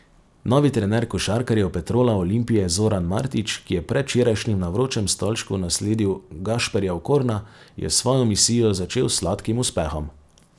Novi trener košarkarjev Petrola Olimpije Zoran Martič, ki je predvčerajšnjim na vročem stolčku nasledil Gašperja Okorna, je svojo misijo začel s sladkim uspehom.